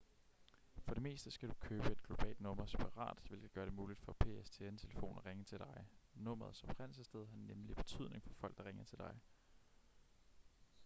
for det meste skal du købe et globalt nummer separat hvilket gør det muligt for pstn-telefoner at ringe til dig nummerets oprindelsessted har nemlig betydning for folk der ringer til dig